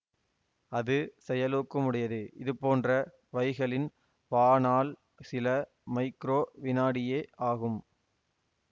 அது செயலூக்கமுடையதுஇதுபோன்ற வைகளின் வாணாள் சில மைக்ரோ விநாடியே ஆகும்